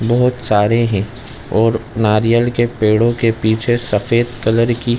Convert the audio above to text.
बहुत सारे है और नारियल के पेड़ो के पीछे सफ़ेद कलर की --